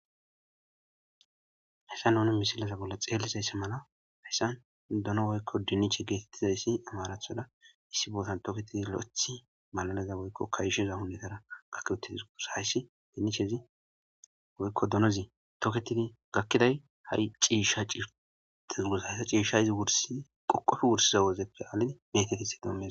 Hayssa nuni misilaza bolla xeelizaysse mala hayssan dono woykko diniche geetettizayssi amarathoda issi bootan tooketidi lo7ethi malalaza woykko kaysheza hunnetara gakkwetizisuusa hayssi dinichezi woykko donozi toketidi gakkiday ha'i ciishsha tezuusa hayssa ciishshayzi qoqofe wursiza wozeppe aalid metetiti doommea.